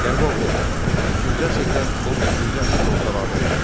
Qərbi Avropa beşinci əsrdən 17-ci əsrin ortalarına qədər.